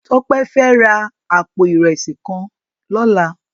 Tope fè rá àpó irèsí kán lòlá